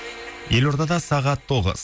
елордада сағат тоғыз